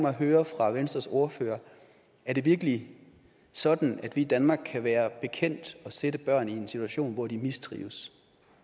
at høre fra venstres ordfører er det virkelig sådan at vi i danmark kan være bekendt at sætte børn i en situation hvor de mistrives